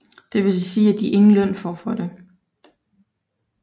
Det vil sige at de ingen løn får for det